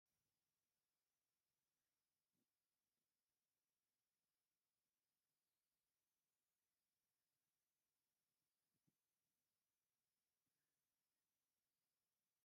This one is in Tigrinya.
ናይ ኦፊስ ኣቁሑታት ኣለዉ ከም ጠረጵዛ ፣ ሸልፍ ፣ ተሽከርካሪ ወንበር ፣ ርሕቅ ኢሉ ወናብር ኣሎ ኣብቲ ጣልላ እንታይ ኣላ ?